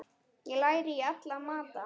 Er læri í alla mata?